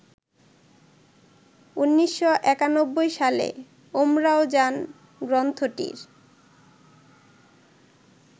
১৯৯১ সালে ‘উমরাওজান’ গ্রন্থটির